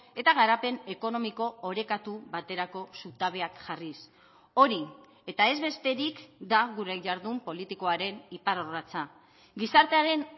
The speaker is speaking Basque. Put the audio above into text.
eta garapen ekonomiko orekatu baterako zutabeak jarriz hori eta ez besterik da gure jardun politikoaren iparrorratza gizartearen